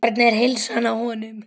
Hvernig er heilsan á honum?